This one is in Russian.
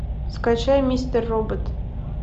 скачай мистер робот